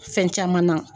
Fɛn caman na